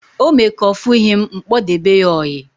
O mee ka ofughi m, m kpodebe ya oyi